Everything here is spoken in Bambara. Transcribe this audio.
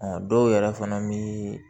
Ɔ dɔw yɛrɛ fana bi